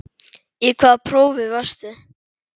Í hvaða prófi varstu?